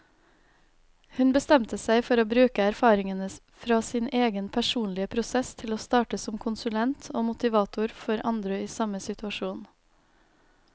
Hun bestemte seg for å bruke erfaringene fra sin egen personlige prosess til å starte som konsulent og motivator for andre i samme situasjon.